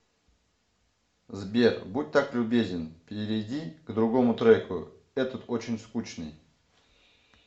сбер будь так любезен перейди к другому треку этот очень скучный